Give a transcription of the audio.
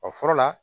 O fɔlɔ la